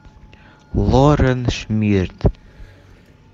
лорен шмидт